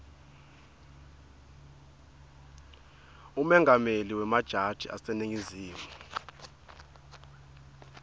umengameli wemajaji aseningizimu